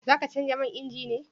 Za ka canja man inji ne?